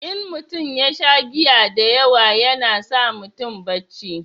in mutum ya sha giya da yawa yana sa mutum barci